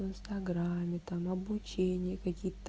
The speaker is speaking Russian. в инстаграме там обучение какие-то